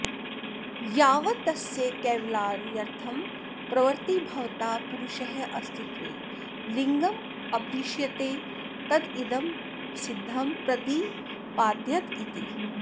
यावत्तस्य कैवल्यार्थं प्रवृत्तिर्भवता पुरुषास्तित्वे लिङ्गमपदिश्यते तदिदमसिद्धं प्रदिपाद्यत इति